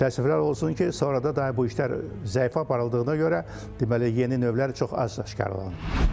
Təəssüflər olsun ki, sonradan bu işlər zəif aparıldığına görə, deməli yeni növlər çox az aşkarlanıb.